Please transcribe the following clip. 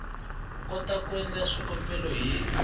kota ku endla swikambelo ni